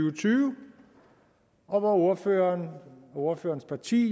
og tyve og ordføreren og ordførerens parti